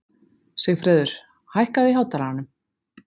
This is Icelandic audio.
Sigfreður, hækkaðu í hátalaranum.